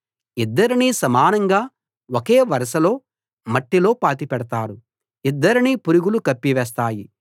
ఇద్దరినీ సమానంగా ఒకే వరసలో మట్టిలో పాతిపెడతారు ఇద్దరినీ పురుగులు కప్పివేస్తాయి